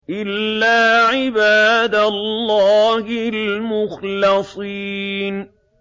إِلَّا عِبَادَ اللَّهِ الْمُخْلَصِينَ